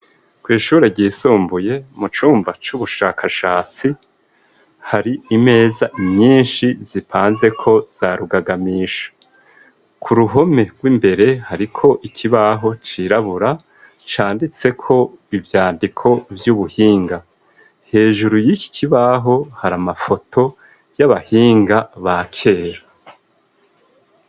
Kw'ishure ryisumbuye mu cumba c'ubushakashatsi hari imeza myinshi zipanze ko za rugagamisha ku ruhome rw'imbere hari ko ikibaho cirabura canditse ko ibyandiko vy'ubuhinga hejuru y'iki kibaho hari amafoto y'abahinga ba kera.